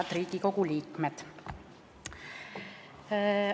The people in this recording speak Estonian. Head Riigikogu liikmed!